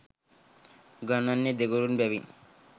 උගන්වන්නේ දෙගුරුන් බැවින්